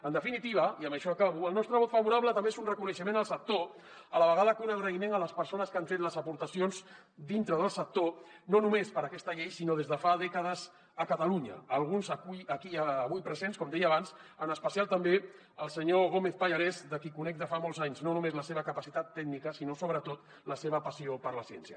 en definitiva i amb això acabo el nostre vot favorable també és un reconeixement al sector a la vegada que un agraïment a les persones que han fet les aportacions dintre del sector no només per a aquesta llei sinó des de fa dècades a catalunya alguns aquí avui presents com deia abans en especial també el senyor gómez pallarès de qui conec de fa molts anys no només la seva capacitat tècnica sinó sobretot la seva passió per la ciència